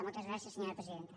moltes gràcies senyora presidenta